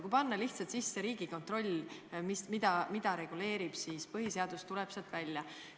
Kui muuta Riigikontrolli seaduses seda, mis on Riigikontrolli tegevuse eesmärk, siis põhiseadus tuleb seal esile.